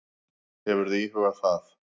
Hefurðu íhugað það?